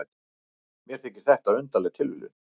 Mér þykir þetta undarleg tilviljun.